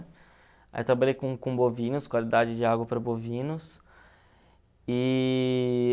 Aí trabalhei com com bovinos, qualidade de água para bovinos. E...